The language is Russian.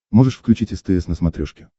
можешь включить стс на смотрешке